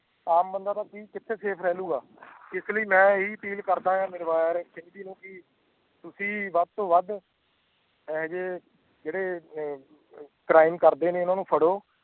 ਆਮ ਬੰਦਾ ਕੀਤੋ ਸਵੈ ਰੇਲ਼ੂਗਾ ਇਸ ਲਈ ਮੈਂ ਇਹੀ ਅਪੀਲ ਕਰਦਾ ਹੈ ਨਿਰਵੈਰ ਸਿੰਘ ਜੀ ਨੂੰ ਕਿ ਤੁਸੀ ਵੱਧ ਤੋਂ ਵੱਧ ਇਹੋ ਜੇੜੇ ਨੇ ਕ੍ਰਾਈਮ ਕਰਦੇ ਨੇ ਇਨ੍ਹਾਂ ਨੂੰ ਫੜ੍ਹੋ